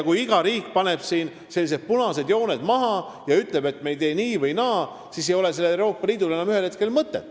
Kui iga riik paneb sellised punased jooned maha ja ütleb, et me ei tee nii või naa, siis ei ole sellel Euroopa Liidul ühel hetkel enam mõtet.